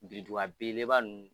Biriduga a belebeleba nunnu